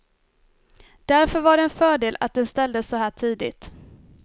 Därför var det en fördel att den ställdes så här tidigt.